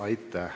Aitäh!